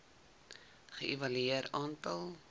ge evalueer aantal